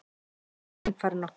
Litli einfarinn okkar.